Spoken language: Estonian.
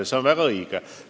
See on väga õige!